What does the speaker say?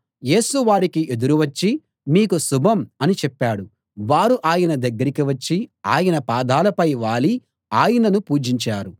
యేసు వారికి ఎదురు వచ్చి మీకు శుభం అని చెప్పాడు వారు ఆయన దగ్గరికి వచ్చి ఆయన పాదాలపై వాలి ఆయనను పూజించారు